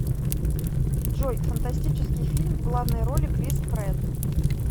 джой фантастический фильм в главной роли крис прэтт